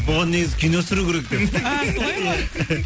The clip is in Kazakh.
бұған негізі кино түсіру керек екен а солай ма